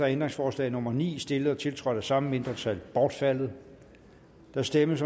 ændringsforslag nummer ni stillet og tiltrådt af samme mindretal bortfaldet der stemmes